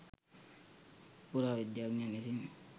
පුරාවිද්‍යාඥයන් විසින්